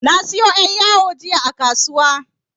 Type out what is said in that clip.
Na sayo yar' yawo jiya a kasuwa.